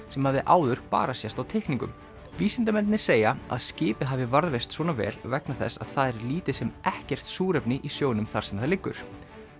sem hafði áður bara sést á teikningum vísindamennirnir segja að skipið hafi varðveist svona vel vegna þess að það er lítið sem ekkert súrefni í sjónum þar sem það liggur